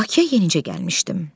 Bakıya yenicə gəlmişdim.